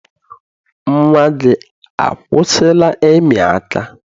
Nnwa gị akwụsịla ịmị aka?